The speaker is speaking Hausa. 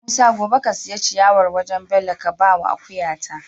Musa gobe ka siya ciyawar wajan Bello ka bawa akuya ta